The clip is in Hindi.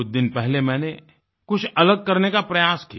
कुछ दिन पहले मैंने कुछ अलग करने का प्रयास किया